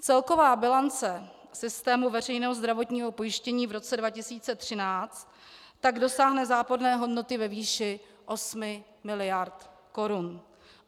Celková bilance systému veřejného zdravotního pojištění v roce 2013 tak dosáhne záporné hodnoty ve výši 8 mld. korun.